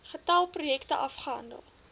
getal projekte afgehandel